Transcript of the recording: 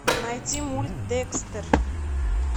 найти мульт декстер